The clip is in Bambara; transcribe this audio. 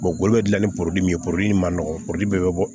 dilan ni ye ma nɔgɔ foro bɛɛ be bɔ